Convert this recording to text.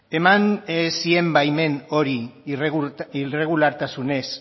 eman zien baimen hori irregulartasunez